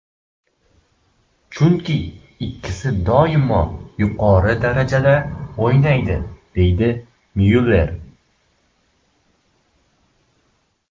Chunki ikkisi doimo yuqori darajada o‘ynaydi”, deydi Myuller.